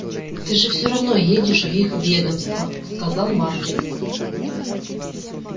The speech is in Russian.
ты же всё равно едешь в их ведомство сказал маркин